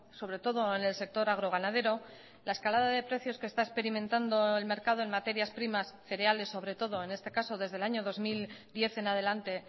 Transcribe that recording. sobre todo en el sector agroganadero la escalada de precios que está experimentando el mercado en materias primas cereales sobre todo en este caso desde el año dos mil diez en adelante